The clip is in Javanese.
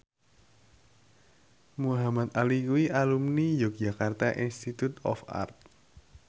Muhamad Ali kuwi alumni Yogyakarta Institute of Art